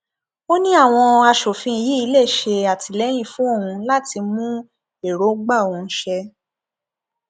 ó ní àwọn aṣòfin yìí lè ṣe àtìlẹyìn fún òun láti mú èròǹgbà òun ṣẹ